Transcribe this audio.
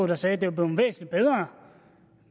der sagde at det var blevet væsentlig bedre